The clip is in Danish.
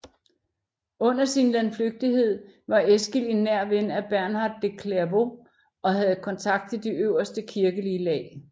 Under sin landflygtighed var Eskil en nær ven af Bernhard af Clairvaux og havde kontakt til de øverste kirkelige lag